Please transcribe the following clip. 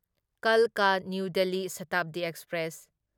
ꯀꯜꯀꯥ new Delhi Shatabdi express